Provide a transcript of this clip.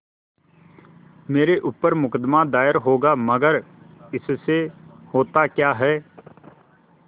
मेरे ऊपर मुकदमा दायर होगा मगर इससे होता क्या है